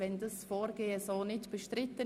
Ist dieses Vorgehen bestritten?